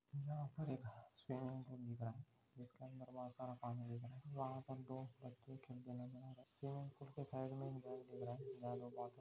यहाँ पर एक स्विमिंग पूल दिख रहा है जिसके अंदर बहुत सारा पानी दिखा रहा है जहा पर दो बच्चे खेलते नजर आ रहे है स्विमिंग पूल के साइड मैं एक घर दिख रहा है जहाँ लोग--